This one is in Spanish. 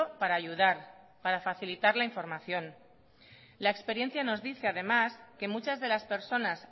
para ayudar para facilitar la información la experiencia nos dice además que muchas de las personas